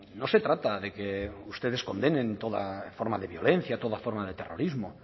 no se trata de que ustedes condenen toda forma de violencia toda forma de terrorismo